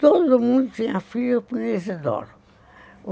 Todo mundo tinha filho com o Isidoro.